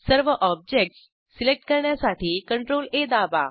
सर्व objects select करण्यासाठी CTRLA दाबा